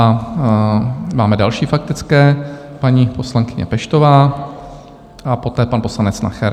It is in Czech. A máme další faktické, paní poslankyně Peštová a poté pan poslanec Nacher.